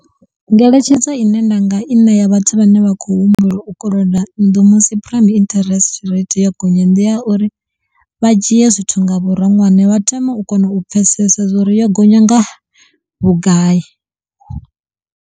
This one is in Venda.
Ngeletshedzo ine nda nga i ṋea vhathu vhane vha khou humbula u koloda nnḓu musi prime interest rate yo gonya ndi ya uri vha dzhie zwithu nga vhuronwane vha thome u kona u pfesesa zwa uri yo gonya nga vhugai.